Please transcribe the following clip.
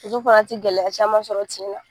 Muso fana ti gɛlɛya caman sɔrɔ tin na.